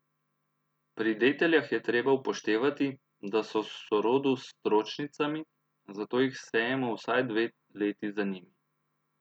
Pri deteljah je treba upoštevati, da so v sorodu s stročnicami, zato jih sejemo vsaj dve leti za njimi.